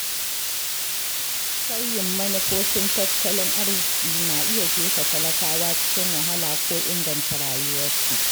Sauyin manufofin tattalin arziki na iya jefa talakawa cikin wahala ko inganta rayuwarsu.